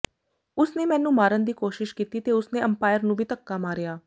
ਉਸ ਨੇ ਮੈਨੂੰ ਮਾਰਨ ਦੀ ਕੋਸ਼ਿਸ਼ ਕੀਤੀ ਤੇ ਉਸ ਨੇ ਅੰਪਾਇਰ ਨੂੰ ਵੀ ਧੱਕਾ ਮਾਰਿਆ